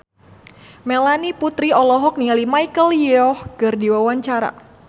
Melanie Putri olohok ningali Michelle Yeoh keur diwawancara